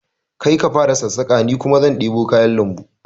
Kai ka fara sassaƙa ni kuma zan ɗebo kayan lambu